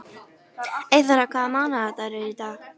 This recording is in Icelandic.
Eyþóra, hvaða mánaðardagur er í dag?